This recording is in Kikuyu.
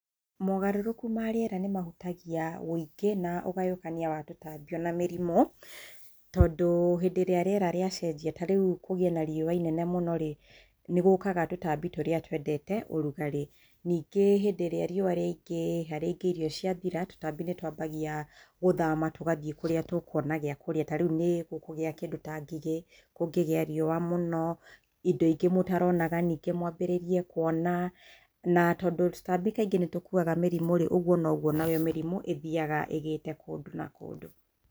Mogarũrũku ma rĩera nĩ mahutagia ũingĩ na ũgayũkania wa tũtambi ona mĩrimũ. Tondũ hĩndĩ ĩrĩa rĩera rĩacenjia na kwĩna riũwa rĩnene mũno-rĩ, nĩ gũkaga tũtambi tũrĩa twndete rugarĩ. Ningĩ rĩrĩa mbũra yaingĩha-rĩ, tũtambi nĩ twambagia gũthama tũgathiĩ kũrĩa tũkuona gĩakũrĩa. Nĩ gũkũgĩa kĩndũ ta ngigĩ kũngĩgĩa riũwa mũno, indo ingĩ mũtaronaga mwambĩrĩrie kwona, na tondũ tũtambi kaingĩ nĩ tũkuwaga mĩrimũ-rĩ, ũguo noguo mĩrimũ ĩthiaga ĩgĩte kũndũ na kũndũ.